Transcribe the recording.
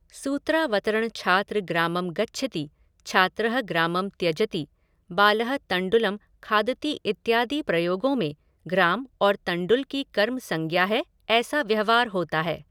सूत्रावतरण छात्र ग्रामं गच्छति, छात्रः ग्रामं त्यजति, बालः तण्डुलं खादति इत्यादि प्रयोगों में ग्राम और तण्डुल की कर्म संज्ञा है ऐसा व्यवहार होता है।